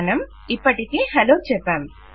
మనం ఇప్పటికే హలో చెప్పాం